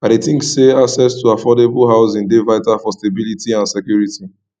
i dey think say access to affordable housing dey vital for stability and security